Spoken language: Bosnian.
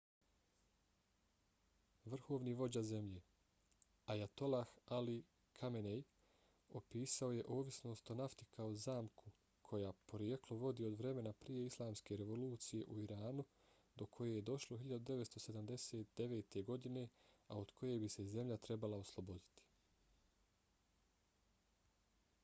vrhovni vođa zemlje ayatollah ali khamenei opisao je ovisnost o nafti kao zamku koja porijeklo vodi od vremena prije islamske revolucije u iranu do koje je došlo 1979. godine a od koje bi se zemlja trebala osloboditi